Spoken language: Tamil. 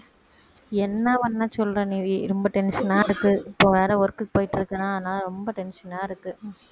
என்ன பண்ணச் சொல்ற நிவி ரொம்ப tension ஆ இருக்கு இப்போ வேற work க்கு போயிட்டிருக்கேனா அதனால ரொம்ப tension ஆ இருக்கு